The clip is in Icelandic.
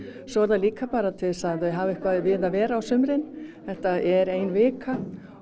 svo er það líka bara til þess að þau hafi eitthvað við að vera á sumrin þetta er ein vika